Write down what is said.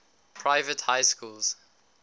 private high schools